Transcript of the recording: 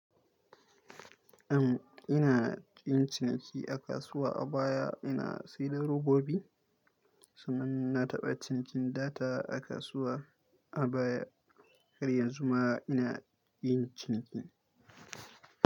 Am, ina yin ciniki a kasuwa a baya ina saida da robobi sannan na taɓa cinikin data a kasuwa a baya. Har yanzu ma ina yin ciniki.